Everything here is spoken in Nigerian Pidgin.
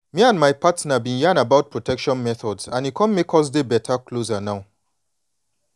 me and my partner been yan about protection methods and e come make us dey beta closer now